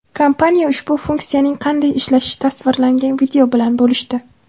Kompaniya ushbu funksiyaning qanday ishlashi tasvirlangan video bilan bo‘lishdi.